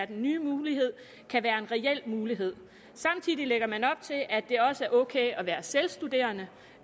den nye mulighed kan være en reel mulighed samtidig lægger man op til at det også er ok at være selvstuderende